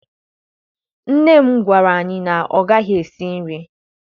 Nne m gwara anyị na ọ gaghị esi nri